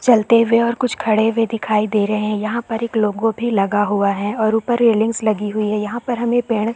चलते हुए कुछ खड़े हुए दिखाई दे रहै हैं यहाँ पर एक लोगों भी लगा हुआ है और ऊपर रैलिंग्स लगी हुई है यहाँ पर हमे पेड़--